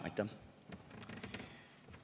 Aitäh!